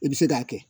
I bɛ se k'a kɛ